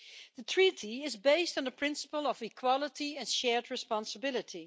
The treaty is based on the principle of equality and shared responsibility.